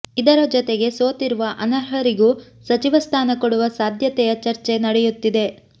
ಇದರ ಜೊತೆಗೆ ಸೋತಿರುವ ಅನರ್ಹರಿಗೂ ಸಚಿವ ಸ್ಥಾನ ಕೊಡುವ ಸಾಧ್ಯತೆಯ ಚರ್ಚೆ ನಡೆಯುತ್ತಿದೆ